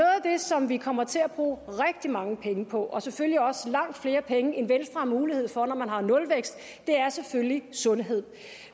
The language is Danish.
som vi kommer til at bruge rigtig mange penge på og selvfølgelig også langt flere penge end venstre har mulighed for når man har nulvækst er selvfølgelig sundhed